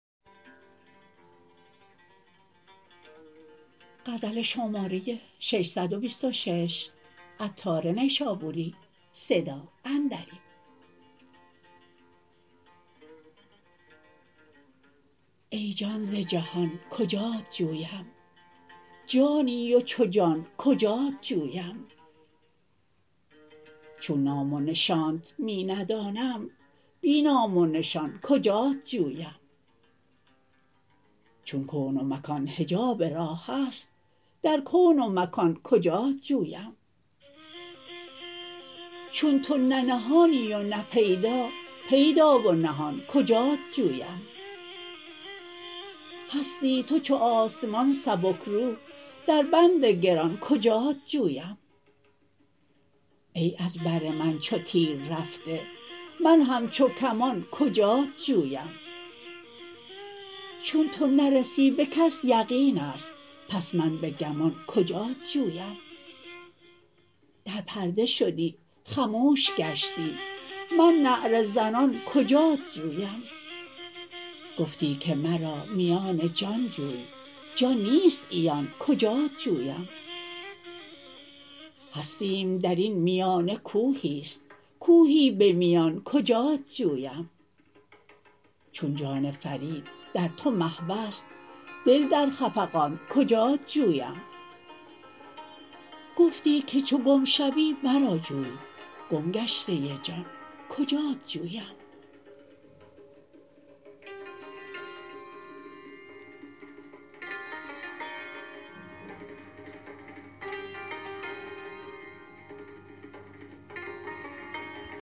ای جان ز جهان کجات جویم جانی و چو جان کجات جویم چون نام و نشانت می ندانم بی نام و نشان کجات جویم چون کون و مکان حجاب راه است در کون و مکان کجات جویم چون تو نه نهانی و نه پیدا پیدا و نهان کجات جویم هستی تو چو آسمان سبکرو در بند گران کجات جویم ای از بر من چو تیر رفته من همچو کمان کجات جویم چون تو نرسی به کسی یقین است پس من به گمان کجات جویم در پرده شدی خموش گشتی من نعره زنان کجات جویم گفتی که مرا میان جان جوی جان نیست عیان کجات جویم هستیم درین میانه کوهی است کوهی به میان کجات جویم چون جان فرید در تو محو است دل در خفقان کجات جویم گفتی که چو گم شوی مرا جوی گم گشته جان کجات جویم